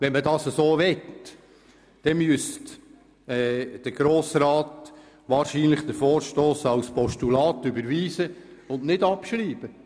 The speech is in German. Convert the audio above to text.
Wenn man das so möchte, müsste der Grosse Rat den Vorstoss als Postulat überweisen und nicht abschreiben.